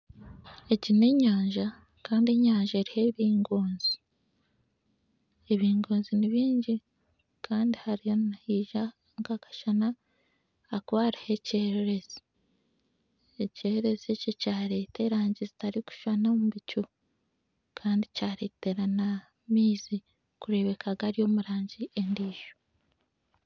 Ego n'enyanja kandi enyanza eriho ebingoozi ebingoozi nibingi kandi hariho nihaija nkakasana ahakuba hariho ekyererezi ekyererezi ekyo kyareeta erangi zitarikushushana omu bicu kandi kyareetera n'amaizi kureebeka gari omu rangi endiijo